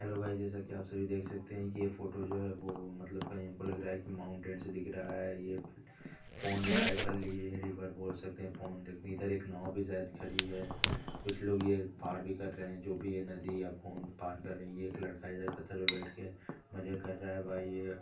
hello guys जैसा कि आप सभी देख सकते हैं कि ये फोटो जो है वो मतलब कहीं हमको लग रहा है कि माउंटेन से दिख रहा है ये पौंड टाइप कर लिए रिवर बोल सकते हैं पौंड इधर एक नाव भी शायद खड़ी है कुछ लोग ये पार भी कर रहे हैं जो भी यह नदी या पौंड पार कर रहे ये एक लड़का इधर पत्थर पे बैठके मजे कर रहा है भाई ये--